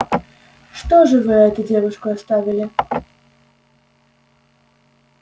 что же это вы девушку оставили